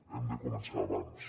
hem de començar abans